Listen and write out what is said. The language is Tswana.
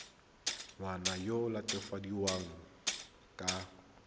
ngwana yo o latofadiwang ka